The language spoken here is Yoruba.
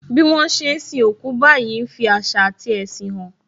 Bí wọn ṣe ń sin òkú báyìí ń fi àṣà ati ẹṣin hàn